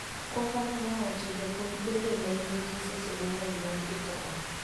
Kwakano nowacho japuonjbende ne nigi seche mangeny mar ikruok